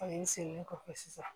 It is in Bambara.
N seginen kɔfɛ sisan